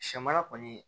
Sɛ mara kɔni